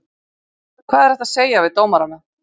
Hvað er hægt að segja við dómarana?